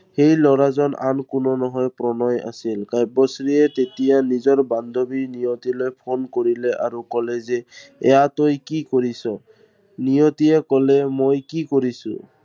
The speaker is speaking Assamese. সেই লৰাজন আন কোনো নহয় প্ৰণয় আছিল। কাব্যশ্ৰীয়ে তেতিয়া নিজৰ বান্ধৱী নিয়তিলৈ জপদলা কৰিলে আৰু কলে যে এইয়া তই কি কৰিছ? নিয়তিয়ে কলে মই কি কৰিছো?